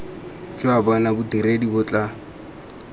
jwa bona bodiredi bo tla